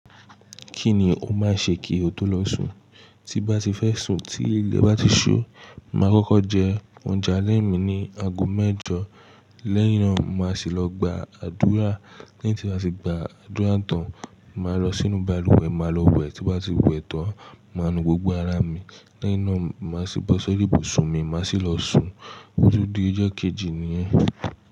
Kíni ó máa ṣe kí o tó lọ sùn? Tí bá ti fẹ́ sùn, tí ilẹ̀ bá ti ṣu, mà á kọ́kọ́ jẹ oúnjẹ alẹ́ mi ni aago mẹ́jọ. Lẹ́yìn náà, mà á sì lọ gba àdúrà. Lẹ́yin tí bàá tì gba àdúrà tán, mà á lọ sínú balùwẹ̀, mà á lọ wẹ̀. Tí bá ti wẹ̀ tán, mà á nu gbogbo ara mi. Lẹ́yìn náà, mà á sì bọ́ sori ibùsùn mi, mà á sì lọ sùn. Otún di ijo kejì ni yen.